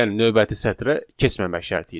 Yəni növbəti sətrə keçməmək şərtilə.